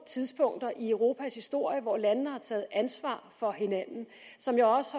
tidspunkter i europas historie hvor landene har taget ansvar for hinanden og som jeg har